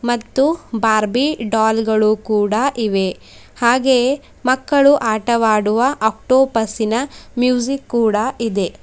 ಮತ್ತು Barbie doll ಗಳು ಕೂಡ ಇವೆ ಹಾಗೆಯೇ ಮಕ್ಕಳು ಆಟವಡುವ ಅಕ್ಟೋಪಸಿ ನ ಮ್ಯೂಸಿಕ್ ಕೂಡ ಇದೆ.